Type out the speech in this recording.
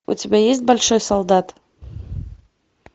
у тебя есть большой солдат